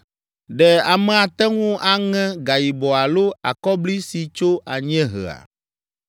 “Ɖe ame ate ŋu aŋe gayibɔ alo akɔbli si tso anyiehea?